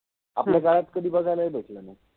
आपल्या काळात कधि बघायलाहि भेटल नाहि.